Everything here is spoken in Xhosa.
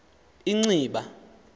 inciba